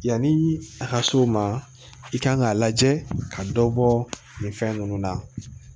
Yanni a ka so ma i kan k'a lajɛ ka dɔ bɔ nin fɛn ninnu na